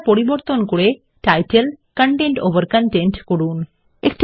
সজ্জা পরিবর্তন করে টাইটেল কনটেন্ট ওভার কনটেন্ট করুন